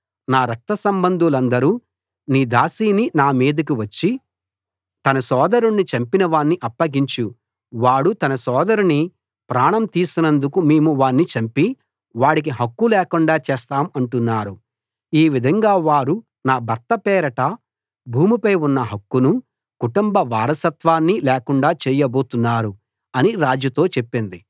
నా రక్త సంబంధులందరూ నీ దాసిని నామీదికి వచ్చి తన సోదరుణ్ణి చంపినవాణ్ణి అప్పగించు వాడు తన సోదరుని ప్రాణం తీసినందుకు మేము వాణ్ణి చంపి వాడికి హక్కు లేకుండా చేస్తాము అంటున్నారు ఈ విధంగా వారు నా భర్త పేరట భూమిపై ఉన్న హక్కును కుటుంబ వారసత్వాన్ని లేకుండా చేయబోతున్నారు అని రాజుతో చెప్పింది